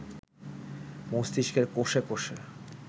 মস্তিষ্কের কোষে কোষে